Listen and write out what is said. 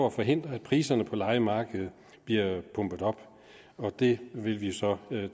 at forhindre at priserne på lejemarkedet bliver pumpet op og det vil vi så tage